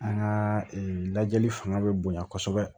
An ka lajɛli fanga bɛ bonya kosɛbɛ